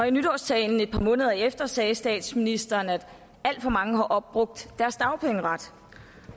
i nytårstalen et par måneder efter sagde statsministeren at alt for mange har opbrugt deres dagpengeret